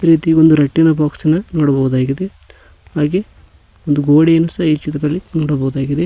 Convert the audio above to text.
ಇದೇ ರೀತಿ ಒಂದು ರಟ್ಟಿನ ಬಾಕ್ಸಿನ ನೋಡಬಹುದಾಗಿದೆ ಹಾಗೆ ಒಂದು ಗೋಡೆಯನ್ನು ಸಹ ಈ ಚಿತ್ರದಲ್ಲಿ ನೋಡಬಹುದಾಗಿದೆ.